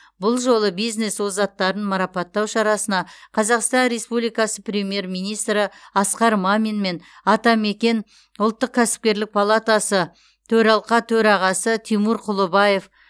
бұл жолы бизнес озаттарын марапаттау шарасына қазақстан республикасы премьер министрі асқар мамин мен атамекен ұлттық кәсіпкерлік палатасы төралқа төрағасы тимур құлыбаев